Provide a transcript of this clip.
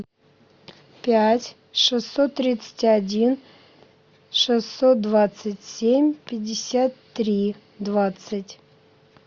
пять шестьсот тридцать один шестьсот двадцать семь пятьдесят три двадцать